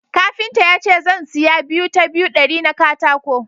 Kafinta ya ce zan siya 2 ta 2 dari na katako